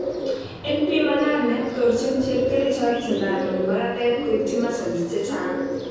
En pimanani, torchin chepkerichot sundanut magatet koityi muscles chechang'